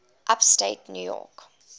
upstate new york